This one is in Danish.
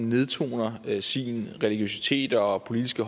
nedtoner sin religiøsitet og og politiske